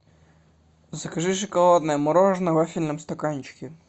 закажи шоколадное мороженое в вафельном стаканчике